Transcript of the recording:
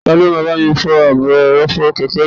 Tani yóò bá mi fọ ààbò ẹrọ̀fọ̀ kẹ̀kẹ́ mi?